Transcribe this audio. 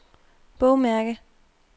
bogmærke